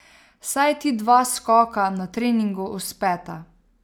Saj ti dva skoka na treningu uspeta ...